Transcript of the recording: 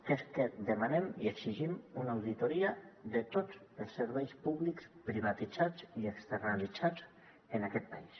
que és que demanem i exigim una auditoria de tots els serveis públics privatitzats i externalitzats en aquest país